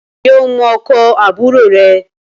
Ǹjẹ́ o mọ ọkọ̀ àbúrò rẹ